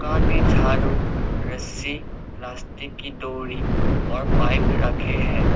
में झाड़ू रस्सी प्लास्टिक की डोरी और पाइप रखे हैं।